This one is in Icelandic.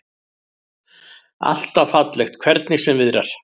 Alltaf fallegt, hvernig sem viðrar.